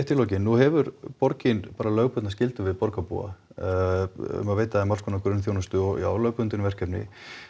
í lokin nú hefur borgin bara lögbundna skyldu við borgarbúa um að veita alls konar grunnþjónustu og já lögbundin verkefni